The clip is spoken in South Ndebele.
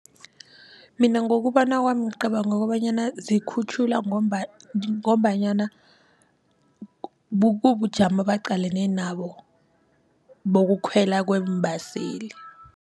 Mina ngokubona kwami ngicabanga kobanyana zikhutjhulwa ngombanyana bujamo baqalene nabo bokukhwela kweembeseli.